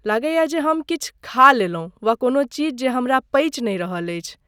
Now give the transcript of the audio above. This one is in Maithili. लगैये जे हम किछु खा लेलहुँ वा कोनो चीज जे हमरा पचि नै रहल अछि।